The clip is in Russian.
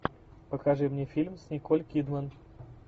покажи мне фильм с николь кидман